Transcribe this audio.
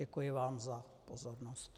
Děkuji vám za pozornost.